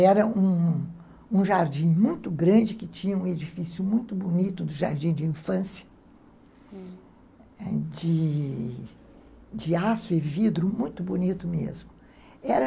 Era um um jardim muito grande que tinha um edifício muito bonito do jardim de infância, hum, de aço e vidro, muito bonito mesmo.